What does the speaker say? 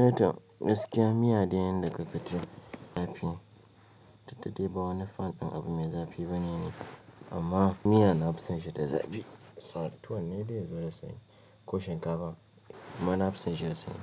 Eh tom gaskia miya dai yanda kaga tafi duk da dai ba wani fan ɗin abu mai zafi bane ni, amman miya nafi son shi da zafi. Sa'ad tuwon ne dai ya zo da sanyi ko shinkafa, amma na fi son shi da sanyi.